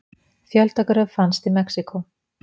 Fjöldagröf fannst í Mexíkó